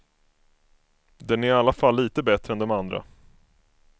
Den är i alla fall lite bättre än de andra.